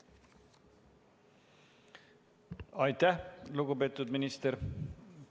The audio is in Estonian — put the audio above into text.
Aitäh, lugupeetud minister!